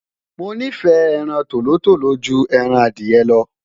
mo nifẹ ẹran tòlótòló jù ẹran Adiye lo